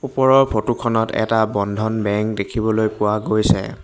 ওপৰৰ ফটো খনত এটা বন্ধন বেংক দেখিবলৈ পোৱা গৈছে।